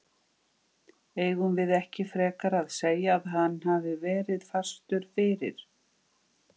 Eigum við ekki frekar að segja að hann hafi verið fastur fyrir?